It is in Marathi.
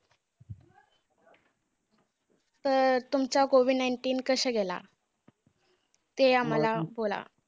तर तुमचा COVID nineteen कसा गेला? ते आम्हांला बोला.